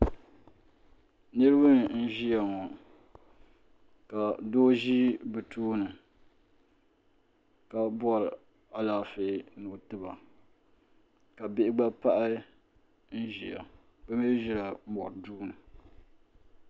Niriba n ʒia ŋɔ ka doo ʒi bɛ tooni ka bori alaafee ni o tiba ka bihi gba pahi n ʒia bɛ mee ʒila mori duuni.